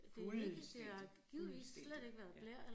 Fuldstændig fuldstændig ja